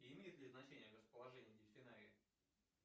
имеет ли значение расположение дельфинария